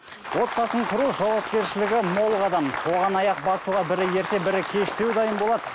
отбасын құру жауапкершілігі мол қадам оған аяқ басуға бірі ерте бірі кештеу дайын болады